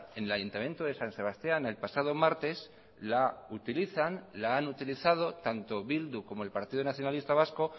en el ayuntamiento de san sebastián el pasado martes la utilizan la han utilizado tanto bildu como el partido nacionalista vasco